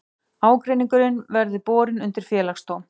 Ágreiningurinn verði borin undir félagsdóm